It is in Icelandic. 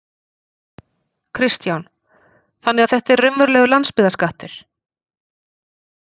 Kristján: Þannig að þetta er raunverulegur landsbyggðarskattur?